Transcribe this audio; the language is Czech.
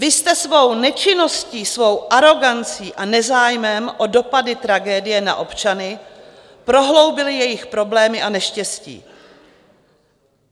Vy jste svou nečinností, svou arogancí a nezájmem o dopady tragédie na občany prohloubili jejich problémy a neštěstí.